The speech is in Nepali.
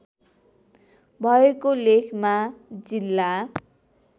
भएको लेखमा जिल्ला